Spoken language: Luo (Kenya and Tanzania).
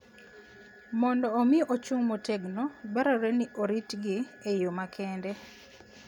Mondo omi ochung' motegno, dwarore ni oritgi e yo makende.